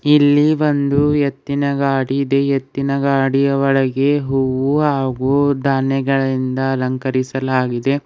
ಇಲ್ಲಿ ಒಂದು ಎತ್ತಿನ ಗಾಡಿ ಇದೆ ಎತ್ತಿನ ಗಾಡಿಯ ಒಳಗೆ ಹೂವು ಹಾಗೂ ಧಾನ್ಯಗಳಿಂದ ಅಲಂಕರಿಸಲಾಗಿದೆ.